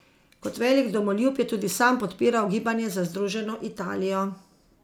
Kot velik domoljub je tudi sam podpiral gibanje za združeno Italijo.